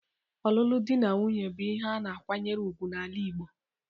Ọlụlụ dị na nwunye bụ ihe a na-akwanyere ugwu n'ala Igbo.